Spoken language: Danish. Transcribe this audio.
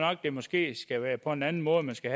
jeg måske skal være på en anden måde man skal